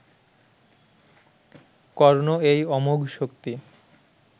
কর্ণ এই অমোঘ শক্তি